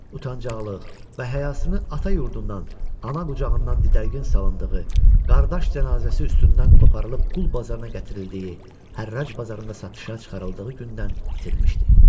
Utancaqlıq, və həyasını ata yurdundan, ana qucağından didərgin salındığı, qardaş cənazəsi üstündən qoparılıb qul bazarına gətirildiyi, hərrac bazarında satışa çıxarıldığı gündən itirmişdi.